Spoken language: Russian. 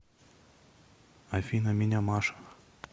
афина меня маша